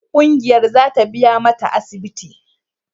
Kungiyar za ta biya mata asibiti.